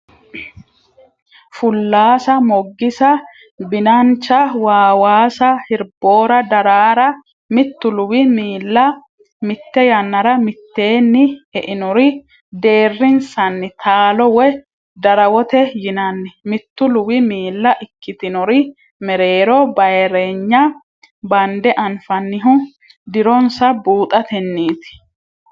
Fullaasa Moggisa Binancha waawaasa Hirboora Daraara Mittu luwi miilla mitte yannara mitteenni e inori deerrinsanni taalo woy darawote yinanni Mittu luwi miilla ikkitinori mereero bayirreenya bande anfannihu dironsa buuxatenniiti.